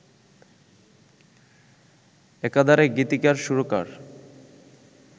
একাধারে গীতিকার সুরকার